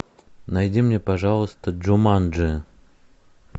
найди мне пожалуйста джуманджи